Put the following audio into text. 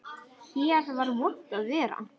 Hér var vont að vera.